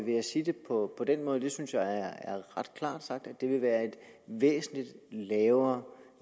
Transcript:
vil jeg sige det på den måde og det synes jeg er ret klart sagt at det vil være en væsentlig lavere